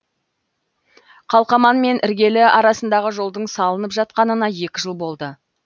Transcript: қалқаман мен іргелі арасындағы жолдың салынып жатқанына екі жыл болды